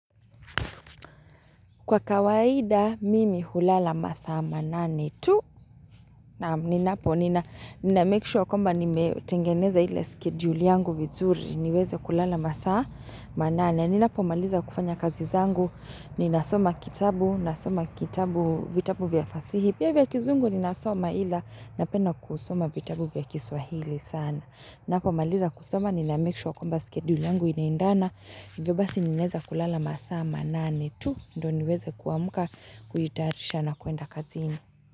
Kwa kawaida, mimi hulala masaa manane tu. Naam, ninapo, nina make sure kwamba nimetengeneza ile skedul yangu vizuri. Niweze kulala masaa manane. Ninapo, maliza kufanya kazi zangu. Ninasoma kitabu, nasoma kitabu vitabu vya fasihi. Pia vya kizungu, ninasoma ila napenda kusoma vitabu vya kiswahili sana. Ninapo, maliza kusoma, nina make sure kwamba skedul yangu inaendana. Ndiyo basi ninaweza kulala masaa manane tu ndo niweze kuamuka kuitayarisha na kuenda kazi ini.